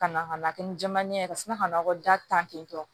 Ka na ka na kɛ ni jɛmannin ye kasina ka nakɔ ta ten tɔ